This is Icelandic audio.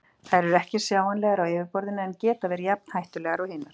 Þær eru ekki sjáanlegar á yfirborðinu en geta verið jafn hættulegar og hinar.